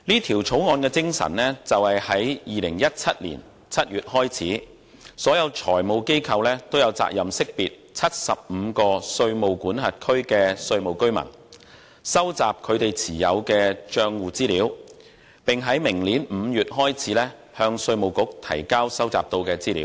《條例草案》的精神是，在2017年7月開始，所有財務機構都有責任識別75個稅務管轄區的稅務居民、收集他們所持帳戶的資料，以及於明年5月開始向稅務局提交收集到的資料。